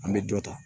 An bɛ dɔ ta